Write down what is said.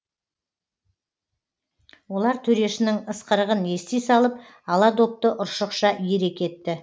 олар төрешінің ысқырығын ести салып ала допты ұршықша иіре кетті